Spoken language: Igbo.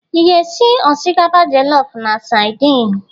Ị ga-esi osikapa jọlọf na sadin?